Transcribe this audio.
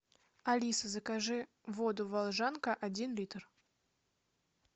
алиса закажи воду волжанка один литр